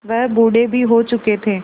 वह बूढ़े भी हो चुके थे